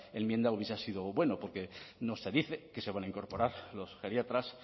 enmienda hubiese sido buena porque no se dice que se van a incorporar los geriatras